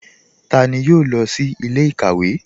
Tani yóò lọ sí ilẹ̀-ikawe?